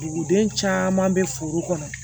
Duguden caman bɛ foro kɔnɔ